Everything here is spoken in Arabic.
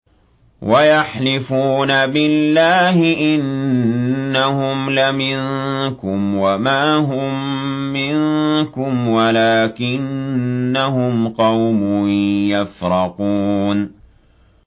وَيَحْلِفُونَ بِاللَّهِ إِنَّهُمْ لَمِنكُمْ وَمَا هُم مِّنكُمْ وَلَٰكِنَّهُمْ قَوْمٌ يَفْرَقُونَ